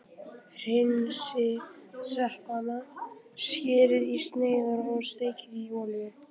Hreinsið sveppina, skerið í sneiðar og steikið í olíu.